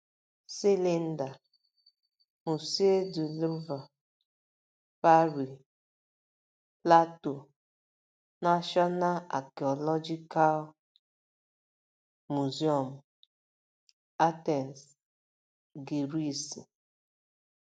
cs] Silinda: Musée du Louvre, Pari; Plato: Nashọna Akiolojikal Mụzịọmụ, Atensi, Giriisi.